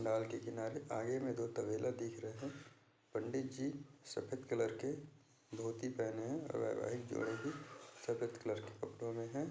डाल के किनारे आगे में दो तबेला दिख रहा है पंडित जी सफ़ेद कलर के धोती पहने है वैवाहिक जोड़े भी सफ़ेद कलर के कपड़ों में है।